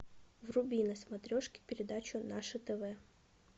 вруби на смотрешке передачу наше тв